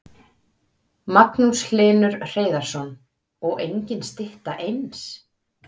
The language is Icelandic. Magnús Hlynur Hreiðarsson: Og engin stytta eins?